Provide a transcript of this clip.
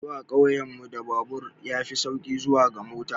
Zuwa ƙauyen mu da babur ya fi sauri bisa ga mota.